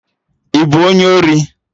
Ị bụ onye ori?